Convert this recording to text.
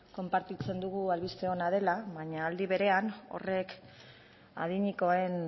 konpartitzen dugu albiste ona dela baina aldi berean horrek adinekoen